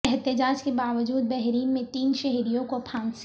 احتجاج کے باجود بحرین میں تین شہریوں کو پھانسی